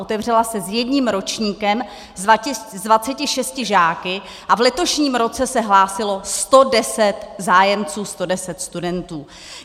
Otevřela se s jedním ročníkem s 26 žáky a v letošním roce se hlásilo 110 zájemců, 110 studentů.